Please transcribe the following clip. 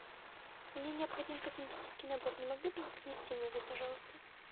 мне необходим косметический набор не могли бы вы принести мне его пожалуйста